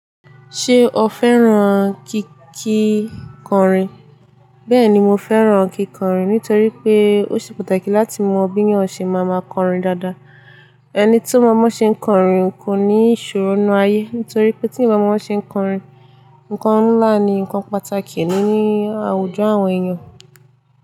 Ṣé o fẹ́ràn kíkìkọrin? Bẹ́ẹ̀ni, mo fẹ́ràn kíkọrin nítorí pé ó ṣe pàtàkì láti mọ bí yan ṣe máa ń máa kọrin dáadáa. Ẹni tó mo boṣe ń kọrin kò ní ìṣòro inú ayé. Nítorí pé tí eeyan ba mọ bo ṣe ń kọrin, ǹkan ńlá ni ǹkan pàtàkì nínú àwùjọ àwọn èèyàn.